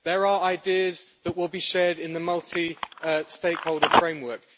There are ideas that will be shared in the multi stakeholder framework.